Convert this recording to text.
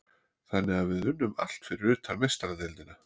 Þannig að við unnum allt fyrir utan Meistaradeildina.